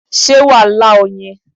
sé wàá lá oyin